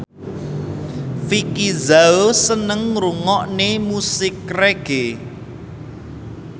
Vicki Zao seneng ngrungokne musik reggae